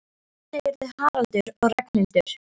Af hverju segirðu Haraldur og Ragnhildur?